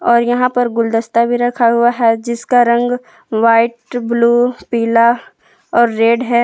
और यहाँ पर गुलदस्ता भी रखा हुआ है जिसका रंग वाइट ब्लू पीला और रेड है।